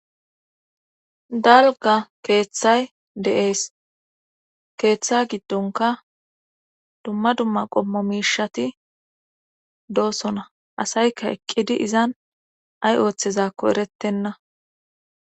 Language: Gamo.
Dalga keeththay deees keeththa giddonka dumma dumma qommo miishati doosona asayka eqqidi izan ay ooththezakko erettenna.